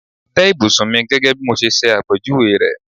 Tẹ́ ìbùsùn mi gẹ́gẹ́ bí mo ṣe ṣẹ àpèjúwe rẹ̀!